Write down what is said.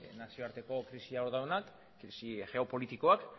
nazioarteko krisian hor daudenak krisi geopolitikoak